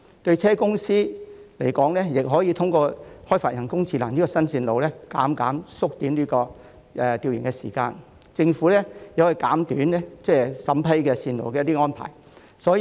汽車公司亦可以透過人工智能開發新路線，大大縮短調研時間，亦有助政府減短審批路線的時間。